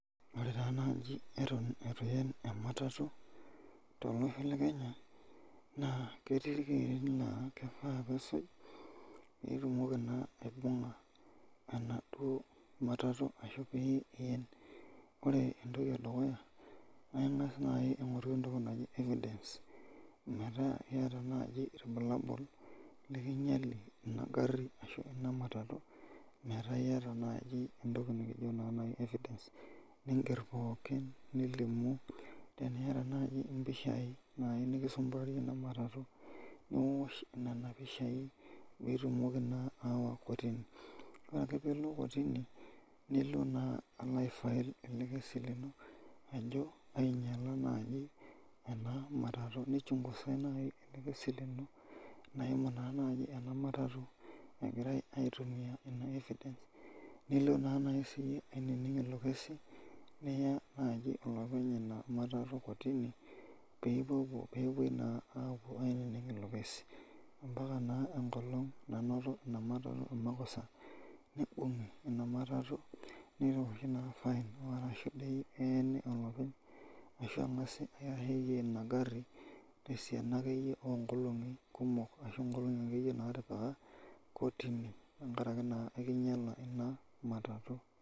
Ore nai atan ituen ematatu tolosho lekenya netii rkererin la keyieu nisuj pitumoki na ibunga enaduo matatu ashu pien neaku ore enatoki edukuya na ingasa aingoru entoki naji evidence metaa iyata nai irbulabul likinyala enagari ashu enamatatu metaa iyata nai entoki nikijo evidence [ce] ninger pookin nilimu teniata nai mpishai nikisumbuarie enamatatu niosho nona pishai pitumoki ayawa kotini, ore akepilo kotini nilo na alo ai file elekesi lino nijo ainyala enamatatu nichungusai nai elekesi lino naimu na nai enamatatu egirai aitumia ina evidence nilo nai sinyeyie aininig ilo kesi niya olopenya inamatatui kotini pilo na ainning ilo kesi ambaka na enkolong nainotoki inamatatui makosa nibungi nitosshi na fine arashu na eeni olopeny ashu eeni inagari tosiana onkolongi kumok kotini tengaraki na ekinyala inamatatatui.